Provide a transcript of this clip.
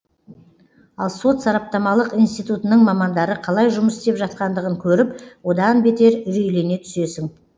ал сот сараптамалық институтының мамандары қалай жұмыс істеп жатқандығын көріп одан бетер үрейлене түсесің